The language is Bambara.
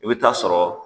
I bɛ taa sɔrɔ